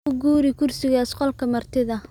U guuri kursigaas qolka martida